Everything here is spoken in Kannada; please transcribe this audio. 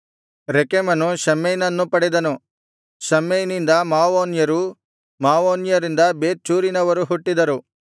ರೆಕೆಮನು ಶಮ್ಮೈನನ್ನು ಪಡೆದನು ಶಮ್ಮೈನಿಂದ ಮವೋನ್ಯರು ಮವೋನ್ಯರಿಂದ ಬೇತ್‌ಚೂರಿನವರು ಹುಟ್ಟಿದರು